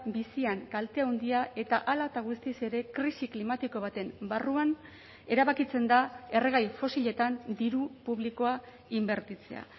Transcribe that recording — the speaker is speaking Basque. bizian kalte handia eta hala eta guztiz ere krisi klimatiko baten barruan erabakitzen da erregai fosiletan diru publikoa inbertitzea